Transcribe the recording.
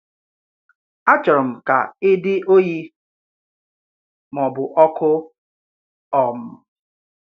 Achọrọ m kà ị dị ọ́yì ma ọ bụ ọkụ́. um